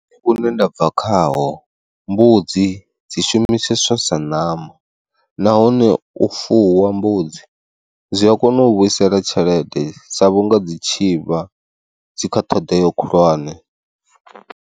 Vhune ndabva khaho mbudzi dzi shumiseswa sa ṋama, nahone u fuwa mbudzi zwi a kona u vhuisela tshelede sa vhunga dzi tshivha dzi kha ṱhoḓea khulwane.